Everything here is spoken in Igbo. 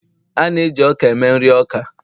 a na-eji ọka eme nri oka